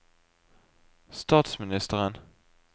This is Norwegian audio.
statsministeren